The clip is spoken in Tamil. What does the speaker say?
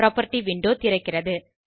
புராப்பர்ட்டி விண்டோ திறக்கிறது